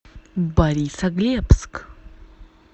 борисоглебск